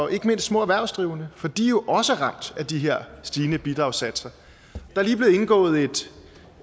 ikke mindst små erhvervsdrivende for de er også ramt af de her stigende bidragssatser der